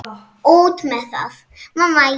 Út með það!